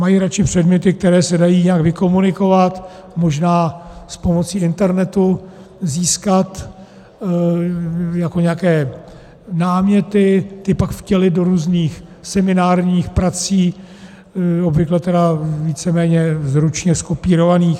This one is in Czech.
Mají radši předměty, které se dají nějak vykomunikovat, možná s pomocí internetu získat jako nějaké náměty, ty pak vtělit do různých seminárních prací, obvykle tedy víceméně zručně zkopírovaných.